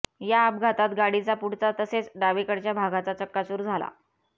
या अपघातात गाडीचा पुढचा तसेच डावीकडच्या भागाचा चक्काचूर झाला